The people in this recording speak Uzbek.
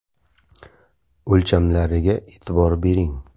O‘lchamlariga e’tibor bering.